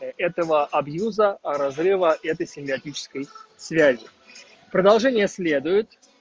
этого абьюза разрыва этой симбиотической связи продолжение следует